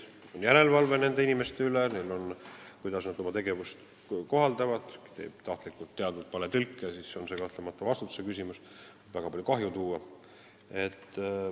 On järelevalve nende inimeste tegevuse üle, kui nad tahtlikult, teadvalt teevad valetõlke, siis tekib kahtlemata vastutuse küsimus ja see tegu võib väga palju kahju tuua.